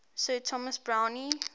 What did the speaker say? sir thomas browne